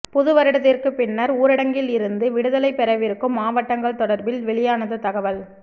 புதுவருடத்திற்குப் பின்னர் ஊரடங்கில் இருந்து விடுதலை பெறவிருக்கும் மாவட்டங்கள் தொடர்பில் வெளியானது தகவல்